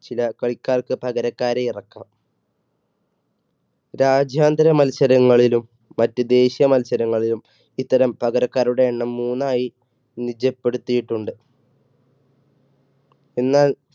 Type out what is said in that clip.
ചില കളിക്കാർക്ക് പകരക്കാരെ ഇറക്കാം. രാജ്യാന്തര മത്സരങ്ങളിലും മറ്റു ദേശീയ മത്സരങ്ങളിലും ഇത്തരം പകരക്കാരുടെ എണ്ണം മൂന്നായി നിജപ്പെടുത്തിയിട്ടുണ്ട്. എന്നാൽ,